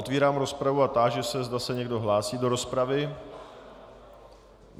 Otevírám rozpravu a táži se, zda se někdo hlásí do rozpravy.